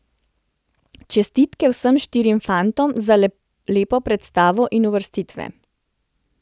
Čestitke vsem štirim fantom za lepo predstavo in uvrstitve.